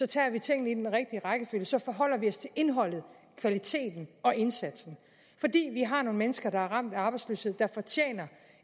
tager vi tingene i den rigtige rækkefølge så forholder vi os til indholdet kvaliteten og indsatsen fordi vi har nogle mennesker der er ramt af arbejdsløshed der fortjener